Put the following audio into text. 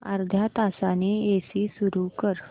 अर्ध्या तासाने एसी सुरू कर